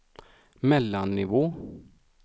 mellannivå